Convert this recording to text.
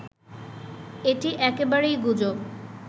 এটি একেবারেই গুজব